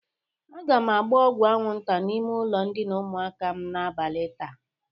Aga m agba ọgwụ aṅwụnta n'ime ụlọ ndịna ụmụaka m n'abali taa.